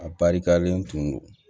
A barikalen tun do